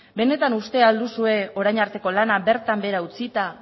benetan uste al duzue orain arteko lana bertan behera utzita